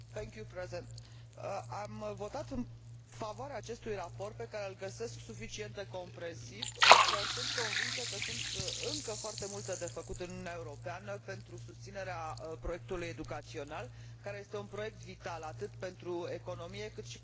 Am votat în favoarea acestui raport pe care îl găsesc suficient de comprehensiv, însă sunt convinsă că sunt încă foarte multe de făcut în Uniunea Europeană pentru susținerea proiectului educațional, care este un proiect vital atât pentru economie, cât și pentru coeziunea socială.